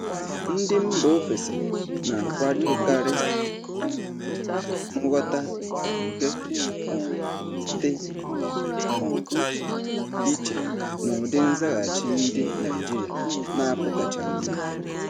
Ndị isi mba ofesi na-akwadokarị um nghọta, nke um dị um iche na ụdị nzaghachi ndị Naijiria na-apụtachaghị ìhè.